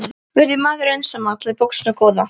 Verð ég maður einsamall í boxinu góða?